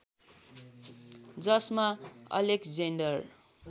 जसमा अलेक्जेन्डर